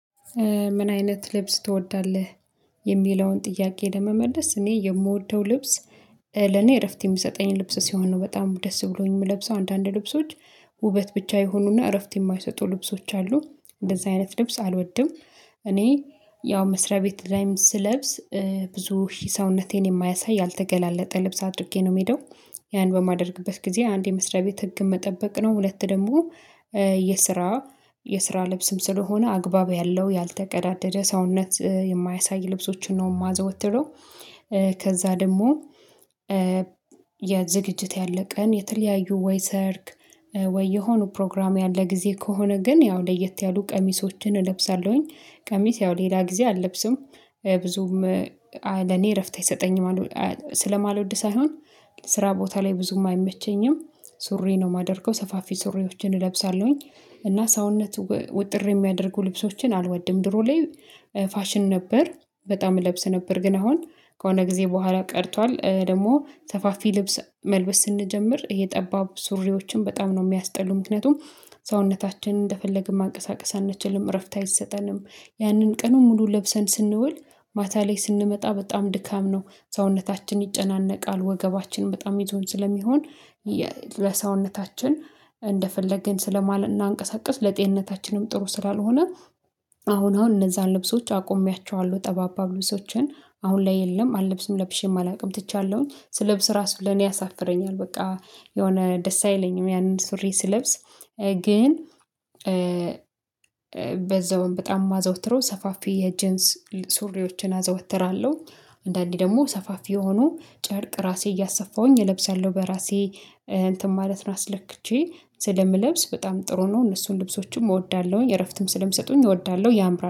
ምን አይነት ልብስ ትወዳለህ? የሚለውን ጥያቄ ለመመለስ እኔ የምወደው ልብስ ለኔ እረፍት የሚሰጠኝ ልብስ ሲሆን ነው በጣም ደስ ብሎኝ የምለብሰው አንዳንድ ልብሶች ውበት ብቻ ይሁኑና እረፍት የማይሰጡ ልብሶች አሉ እንደዛ አይነት ልብስ አልወድም። እኔ ያው መስሪያ ቤት ላይም ስለብስ ብዙ ሰውነቴን የማያሳይ ያልተገላለጠ ልብስ አድርጌ ነው የምሄደው ያን በማደርግበት ጊዜ አንድ የመስሪያ ቤት ህግን መጠበቅ ነው ሁለት ደግሞ የስራ የስራ ልብስም ስለሆነ አግባብ ያለው ያልተቀዳደደ ሰውነት የማያሳይ ልብሶችን ነው የማዘወትለው። ከዛ ደግሞ የዝግጅት ያለ ቀን የተለያዩ ወይ ሰርግ ወይ የሆኑ ፕሮግራም ያለ ጊዜ ከሆነ ግን ያው ለየት ያሉ ቀሚሶችን እለብሳለሁኝ ቀሚስ ያው ሌላ ጊዜ አለብስም ብዙም ለኔ እረፍት አይሰጠኝም። ስለማልወድ ሳይሆን ስራ ቦታ ላይ ብዙም አይመቸኝም ሱሪ ነው የማደርገው ሰፋፊ ሱሪዎችን እለብሳለሁኝ። እና ሰውነት ወጥር የሚያደርጉ ልብሶችን አልወድም። ድሮ ላይ ፋሽን ነበር በጣም እለብስ ነበር ግን አሁን ከሆነ ጊዜ በኋላ ቀርቷል ደግሞ ሰፋፊ ልብስ መልበስ ስንጀምር ጠባብ ሱሪዎችን በጣም ነው የሚያስጠሉ ምክንያቱም ሰውነታችንን እንደፈለግን ማንቀሳቀስ አንችልም እረፍት አይሰጠንም። ያንን ቀኑን ሙሉ ለብሰን ስንውል ማታ ላይ ስንመጣ በጣም ድካም ነው ሰውነታችን ይጨናነቃል ወገባችን በጣም ይዞን ስለሚሆን ለሰውነታችን እንደፈለግን ስለማናንቀሳቅስ ለጤንነታችንም ጥሩ ስላልሆነ። አሁን አሁን እነዛን ልብሶች አቆሚያቸዋለሁ ጠባብ ልብሶችን አሁን ላይ የለም አለብስም ለብሼም አላውቅም ትቻለሁኝ ስለብስ ራሱ ለኔ ያሳፍረኛል በቃ የሆነ ደስ አይለኝም ያንን ሱሪ ስለብስ። ግን በዛውም በጣም የማዘወትረው ሰፋፊ የጀንስ ሱሪዎችን አዘወትራለሁ። አንዳንዴ ደግሞ ሰፋፊ የሆኑ ጨርቅ ራሴ እያሰፋሁኝ እለብሳለሁ በራሴ እንትን ማለት ነው አስለክቼ ስለምለብስ በጣም ጥሩ ነው እነሱን ልብሶችም እወዳለሁኝ እረፍትም ስለሚሰጡኝ እወዳለሁ ያምራል